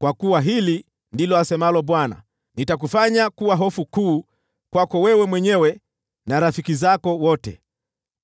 Kwa kuwa hili ndilo asemalo Bwana : ‘Nitakufanya kuwa hofu kuu kwako wewe mwenyewe na rafiki zako wote, na